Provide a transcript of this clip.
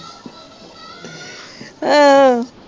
ਅਹ